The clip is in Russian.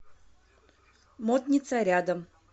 модница рядом